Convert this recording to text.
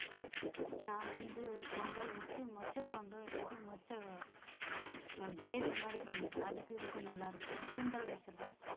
நான் வந்து பொங்கல் வச்சு மொச்சக் குழம்பு இல்லாட்டி மொச்ச அஹ் gravy மாதிரி பண்ணிடுவேன் அதுக்கும் இதுக்கும் நல்லா இருக்கும் சுண்டல்